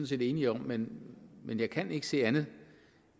set enige om men men jeg kan ikke se andet